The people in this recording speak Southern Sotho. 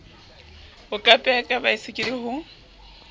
ho kapea ka baesekele ho